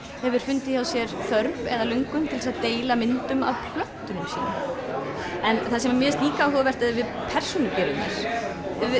hefur fundið hjá sér þörf eða löngun til að deila myndum af plöntunum sínum en það sem mér finnst líka áhugavert eru persónugervingar